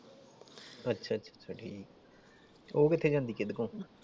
ਅੱਛਾ ਅੱਛਾ ਉਹ ਕਿੱਥੇ ਜਾਂਦੀ ਕੀਦੇ ਕੋਲ?